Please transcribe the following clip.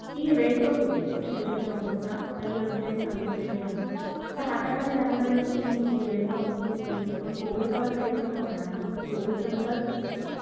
~ ला सांगितलं तर ती थोड्या क्षणांतच माहिती आपल्याला उपलब्ध करून देते. खूप अशी जलद आणि अं सुखकर सो